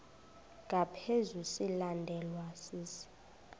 ngaphezu silandelwa sisi